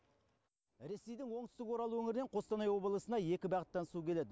ресейдің оңтүстік орал өңірінен қостанай облысына екі бағыттан су келеді